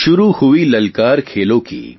શુરુ હુઇ લલકાર ખેલોં કી